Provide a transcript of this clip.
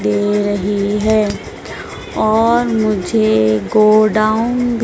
दे रही है और मुझे गोडाउन भी--